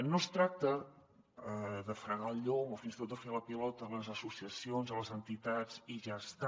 no es tracta de fregar el llom o fins i tot de fer la pilota a les associacions o a les entitats i ja està